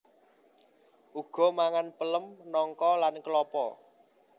Uga mangan pelem nangka lan klapa